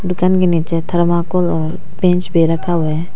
दुकान के नीचे थर्माकोल और बेंच भी रखा हुआ है।